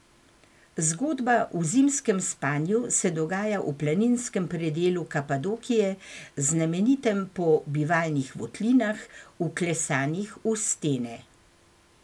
Zgodba v Zimskem spanju se dogaja v planinskem predelu Kapadokije, znamenitem po bivalnih votlinah, vklesanih v stene.